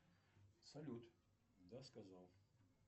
салют да сказал